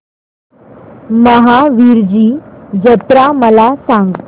महावीरजी जत्रा मला सांग